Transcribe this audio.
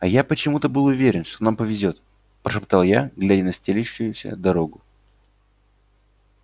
а я почему-то был уверен что нам повезёт прошептал я глядя на стелющуюся дорогу